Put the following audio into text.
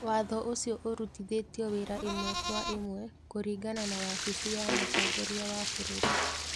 Watho ũcio ũrutithĩtio wĩra ĩmwe kwa ĩmwe kũringana na wabici ya mũtongoria wa bũrũri.